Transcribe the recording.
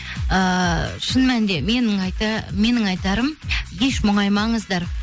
ііі шын мәнінде менің айтарым еш мұңаймаңыздар